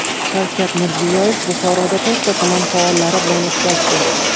Shavkat Mirziyoyev Buxoroda to‘rtta tuman faollari bilan uchrashdi.